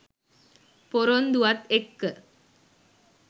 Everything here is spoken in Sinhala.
පොරොන්දුවත් එක්ක